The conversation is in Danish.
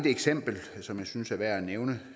eksempel som jeg synes er værd at nævne